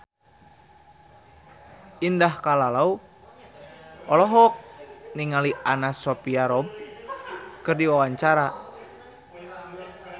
Indah Kalalo olohok ningali Anna Sophia Robb keur diwawancara